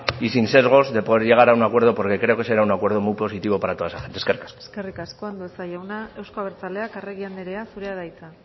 y sin sesgos de poder llegar a un acuerdo porque creo que será un acuerdo muy positivo para toda esa gente eskerrik asko eskerrik asko andueza jauna euzko abertzaleak arregi anderea zurea da hitza